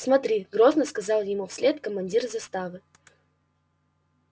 смотри грозно сказал ему вслед командир заставы